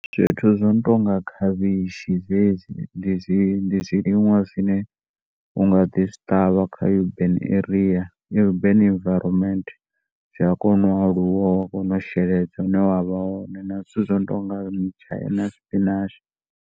Zwithu zwono tonga khavhishi zwezwi ndi zwiṅwe zwine unga ḓi zwi ṱavha kha urban area urban environment, zwi a kona u aluwa uwa kona u sheledza na zwithu zwino nga mutshaini na spinach.